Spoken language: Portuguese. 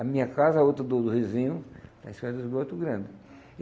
A minha casa, a outra do do vizinho, está em cima do esgoto grande.